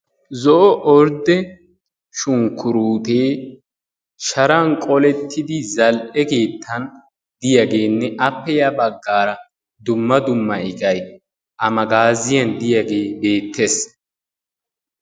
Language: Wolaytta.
zo'o ordde shunkkurutte sharan qoolettidi zal"ee keettan diyaagenne appe yabaggara dumma dumma iqqay a magaziyaan diyaage beettees.